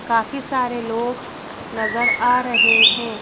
काफी सारे लोग नजर आ रहे हैं।